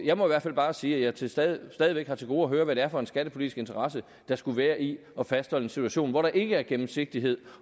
jeg må i hvert fald bare sige at jeg stadig væk har til gode at høre hvad det er for en skattepolitisk interesse der skulle være i at fastholde en situation hvor der ikke er gennemsigtighed